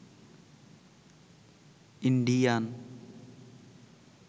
Indian